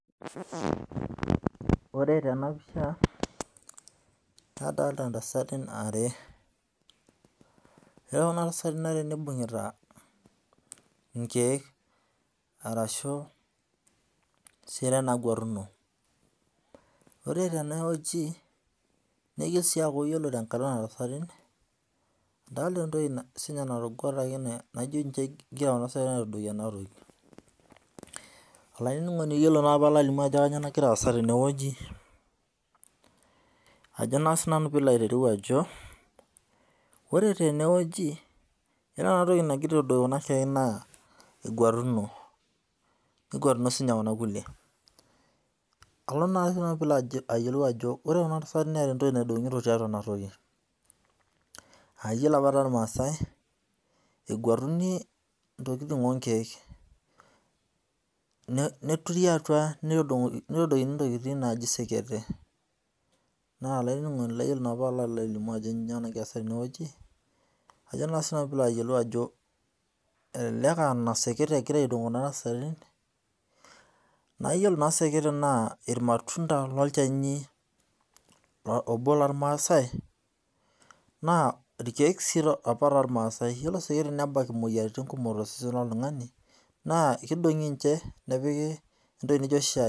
Ore tena pisha, adolta tasati are, ore kuna tasatin are naibungita igiek arashu isieren naagwetuno, ore tena wueji, neyieu sii ninche kuna tasatin etii enkae toki naagwetuno naijo egira aitadoiki ena toki, olaininingoni ore naa paalalimu ajo kainyoo nagira aaza tene wueji ajo naa siinanu piilo aiteru ajo , ore tene ewueji kore ena toki nagira aitadoiki kuna siakikin naa kengwatuno, kengwatuno sii ninye kuna kulie, alo sii nanu piilo ayiolou ajo ore kuna tasati Neeta entoki naidogito tiatua ena toki aa yiolo apa tormaasai egwatuni intokin ookiek , neturri atua nitadoikini naaji seketek naa olaininingoni naabpaalo alimu ajo nyoo nagira aaza tene wueji ajo naa siinanu piilo aiteru naa seketek egira aidongu kuna tasatin, naa yiolo naa seketek ajo ilmatunda loshani obo loormaasai, Nas irkieek sii apa toormasai, ore iseketek nebak irmoyiarin to sesen loltumgani naa ninche nepiki entoki naijo shaai,